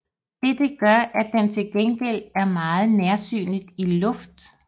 Dette gør at den til gengæld er meget nærsynet i luft